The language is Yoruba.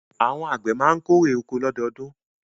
Àwọn àgbẹ̀ ma kérè oko lọ́dọọdún